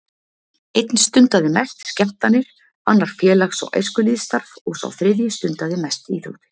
Einn stundaði mest skemmtanir, annar félags- og æskulýðsstarf og sá þriðji stundaði mest íþróttir.